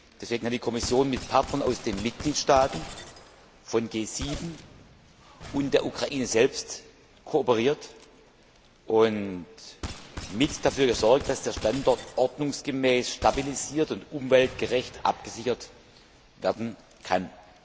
Deswegen hat die Kommission mit Partnern aus den Mitgliedstaaten, der G7 und der Ukraine selbst kooperiert und mit dafür gesorgt, dass der Standort ordnungsgemäß stabilisiert und umweltgerecht abgesichert werden kann.